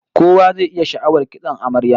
Kowa zai yi sha'awar kitson amaryar